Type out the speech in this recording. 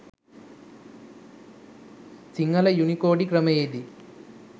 සිංහල යුනිකෝඩි ක්‍රමයේදී